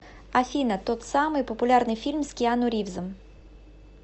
афина тот самый популярный фильм с киану ривзом